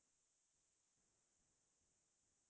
মই উপন্যাস পঢ়িয়ে ভাল পাও